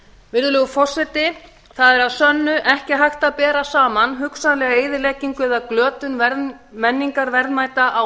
virðulegur forseti það er að sönnu ekki hægt að bera saman hugsanlega eyðileggingu eða glötun menningarverðmæta á